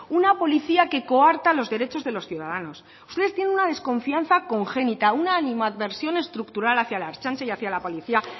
una policía que coarta los derechos de los ciudadanos ustedes tienen una desconfianza congénita una animadversión estructural hacia la ertzaintza y hacia la policía